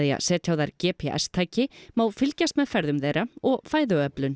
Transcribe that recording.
að setja á þær g p s tæki má fylgjast með ferðum þeirra og fæðuöflun